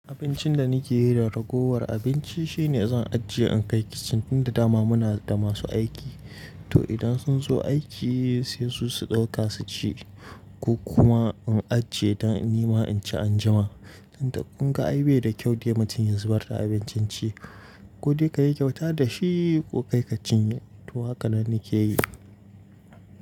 Abincin da nake yi da ragowar abinci shine zan ajiye, in kai kicin tunda dama muna da masu aiki. To idan sun zo aiki sai su su ɗauka su ci ko kuma in ajiye don nima in ci anjima. Tunda kunga aibe da kyau dai mutum ya zubar da abincin ci. Ko dai kayi kyauta da shi ko kai ka cinye. To haka nan nake yi.